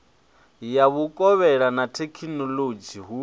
ya vhukovhela na thekhinolodzhi hu